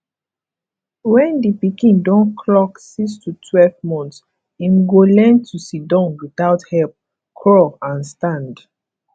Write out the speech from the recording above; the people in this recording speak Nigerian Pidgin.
when di pikin don clock six to twelve months im go learn to sidon without help crawl and stand